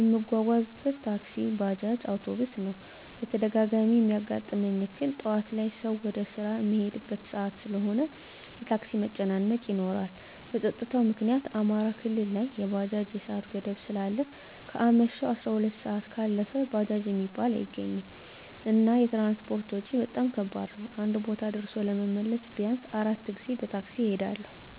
እምጓጓዝበት ታክሲ፣ ባጃጅ፣ አዉቶቢስ ነዉ። በተደጋጋሚ እሚያጋጥመኝ እክል ጠዋት ላይ ሰዉ ወደ ስራ እሚሄድበት ሰአት ስለሆነ የታክሲ መጨናነቅ ይኖራል። በፀጥታዉ ምክኒያት አማራ ክልል ላይ የባጃጅ የሰአት ገደብ ስላለ ከአመሸሁ 12 ሰአት ካለፈ ባጃጅ እሚባል አይገኝም። እና የትራንስፖርት ወጭ በጣም ከባድ ነዉ አንድ ቦታ ደርሶ ለመመለስ ቢያንስ 4 ጊዜ በታክሲ እሄዳለሁ።